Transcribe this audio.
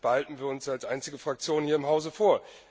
Das behalten wir uns als einzige Fraktion hier im Hause vor.